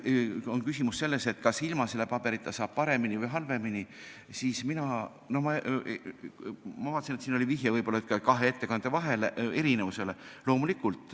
Mis puudutab küsimust, kas ilma selle paberita saab paremini või halvemini, siis ma vaatasin, et võib-olla oli siin vihje kahe ettekande erinevusele.